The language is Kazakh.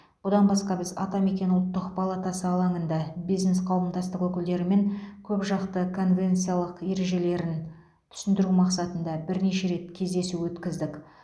бұдан басқа біз атамекен ұлттық палатасы алаңында бизнес қауымдастық өкілдерімен көпжақты конвенциялық ережелерін түсіндіру мақсатында бірнеше рет кездесу өткіздік